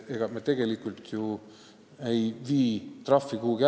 Samas me tegelikult ju trahvi ära ei kaota.